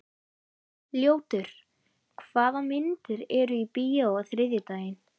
Ljótur, hvaða myndir eru í bíó á þriðjudaginn?